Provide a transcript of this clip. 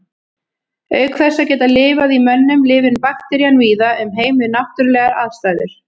Auk þess að geta lifað í mönnum lifir bakterían víða um heim við náttúrulegar aðstæður.